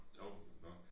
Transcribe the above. Hov nå